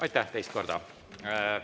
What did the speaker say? Aitäh teist korda!